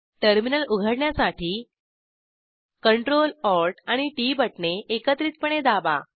terminal उघडण्यासाठी Ctrl Alt आणि T बटणे एकत्रितपणे दाबा